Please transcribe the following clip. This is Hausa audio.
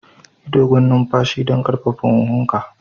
Yi dogon numfashi don ƙarfafa hunhunka.